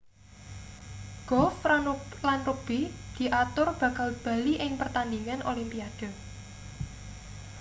golf lan rugbi diatur bakal bali ing pertandingan olimpiade